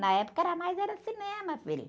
Na época era mais era cinema, filho.